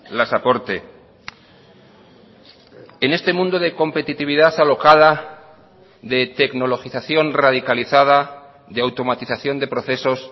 las aporte en este mundo de competitividad alocada de tecnologización radicalizada de automatización de procesos